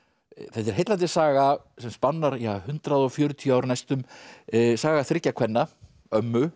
þetta er heillandi saga sem spannar ja hundrað og fjörutíu ár næstum saga þriggja kvenna ömmu